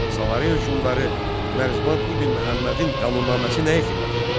Salari hökmdarı Mərzban ibn Məhəmmədin qanunnaməsi nəyə xidmət edirdi?